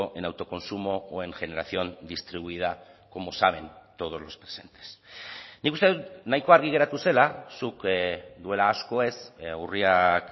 en autoconsumo o en generación distribuida como saben todos los presentes nik uste dut nahiko argi geratu zela zuk duela asko ez urriak